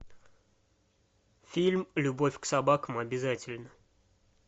фильм любовь к собакам обязательна